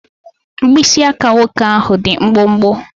Mkpịsị aka nwoke ahụ dị mkpụmkpụ.